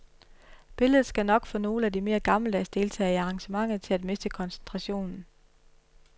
Billedet skal nok få nogle af de mere gammeldags deltagere i arrangementet til at miste koncentrationen.